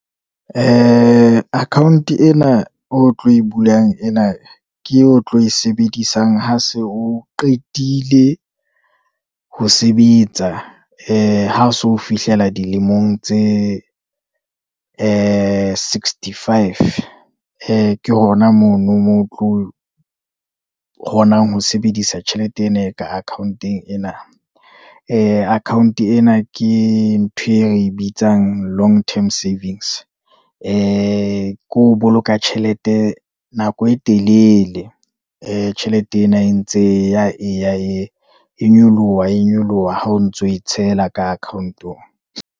Account ena o tlo e bulang, ena ke e o tlo e sebedisang ha se o qetile ho sebetsa, ha o se o fihlela dilemong tse sixty-five. Ke hona mono moo o tlo kgonang ho sebedisa tjhelete ena e ka akhaonteng ena, account ena ke ntho e re bitsang long term savings. Ke ho boloka tjhelete nako e telele, tjhelete ena e ntse eya eya e nyoloha, e nyoloha ha o ntso e tshela ka account-ong.